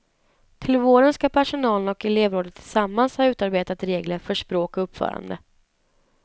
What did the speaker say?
Till våren ska personalen och elevrådet tillsammans ha utarbetat regler för språk och uppförande.